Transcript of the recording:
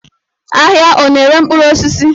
Ahịa ọ na-ere mkpụrụ osisi?